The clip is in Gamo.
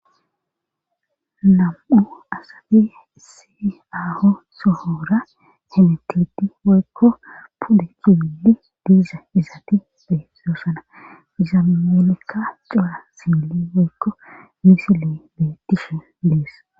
Nam'u asabi siaho sohora hemiteti woykko pude kiwili diiza izaati be doosana izammelekka cowa sili woykko misile be tishon dees.